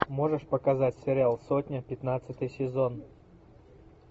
можешь показать сериал сотня пятнадцатый сезон